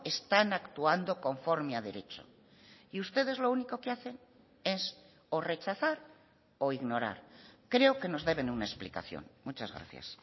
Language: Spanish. están actuando conforme a derecho y ustedes lo único que hacen es o rechazar o ignorar creo que nos deben una explicación muchas gracias